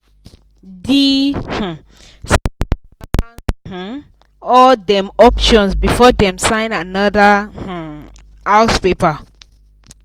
the um smith dey balance um all dem options before dem sign another um house paper.